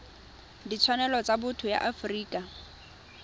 ditshwanelo tsa botho ya afrika